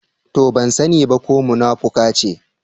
To! Ban sani ba ko munafuka ce.